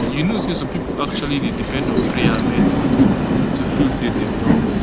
you know say some pipo actually dey depend on prayer and medicine to feel say dem don well